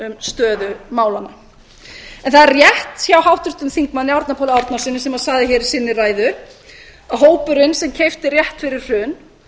stöðu málanna það er rétt hjá háttvirtum þingmanni árna páli árnasyni sem hann sagði hér í sinni ræðu að hópurinn sem keypti rétt fyrir hrun